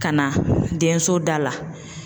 Ka na denso da la